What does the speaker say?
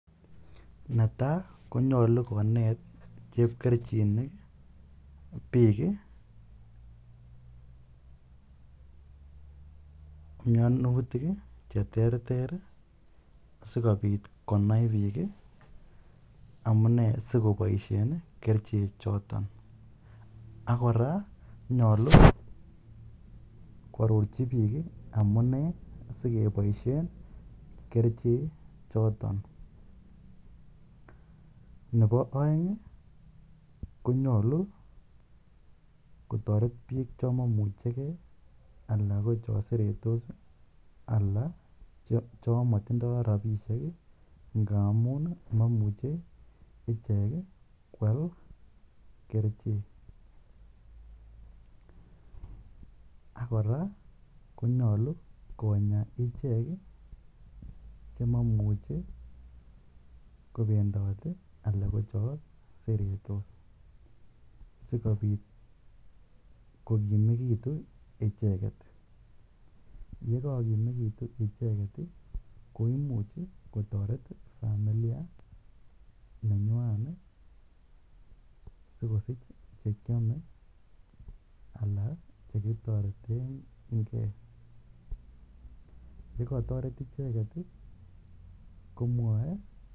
Netai ko nyalu konet chep kerichinik piik mianutilk che terter asikopit konai piik amunee asikopaishen kerichechoton. Ak kora nyalu koarorchi piik amune si kepaishe kerichechoton. Nepo aeng' ko nyalu kotaret piik cha mamuchi gei ala ko cha seretos ala cho matindai rapishek ngamun mamuche ichek koal kerichek. Ak kora konyalu konya ichek che mamuchi kopendat ala ko cha seretos asikopit kokimekitu icheget. Ye kakokimekitu icheget i, ko imuch kotaret familia nenywan asikosich alan che kitareten ge. Ye kataret icheget komwaen.